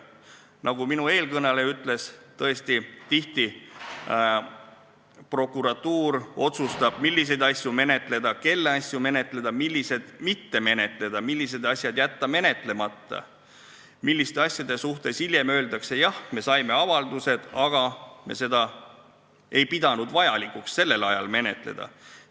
Nagu eelkõneleja ütles, tõesti prokuratuur tihti otsustab, milliseid asju menetleda, kelle asju menetleda, milliseid mitte menetleda, millised asjad jätta menetlemata ja milliste asjade kohta ta hiljem ütleb, et jah, me saime avalduse, aga me ei pidanud vajalikuks seda sellel ajal menetleda.